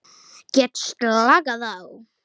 Get slakað á.